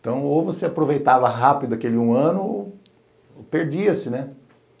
Então, ou você aproveitava rápido aquele um ano, ou perdia-se, né?